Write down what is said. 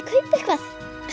kaupa eitthvað